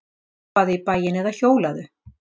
Labbaðu í bæinn eða hjólaðu.